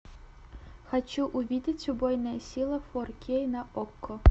хочу увидеть убойная сила фор кей на окко